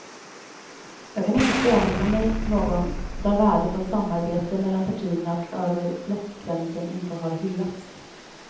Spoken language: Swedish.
Jag kan inte påminna mig någon där värdet av samarbete mellan partierna och över blockgränsen inte har hyllats.